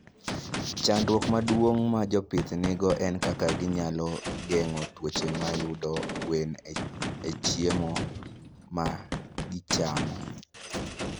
Chandruok maduong' ma jopith nigo en kaka ginyalo geng'o tuoche mayudo gwen e chiemo ma gichiemo.